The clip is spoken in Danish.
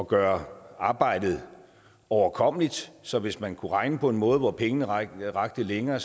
gøre arbejdet overkommeligt så hvis man kunne regne på en måde hvor pengene rakte længere